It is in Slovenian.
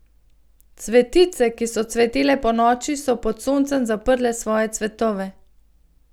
Cvetice, ki so cvetele ponoči, so pod soncem zaprle svoje cvetove.